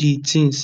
di tins